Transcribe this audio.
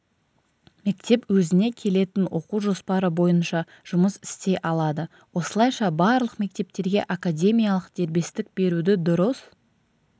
мектеп өзіне келетін оқу жоспары бойынша жұмыс істей алады осылайша барлық мектептерге академиялық дербестік беруді дұрыс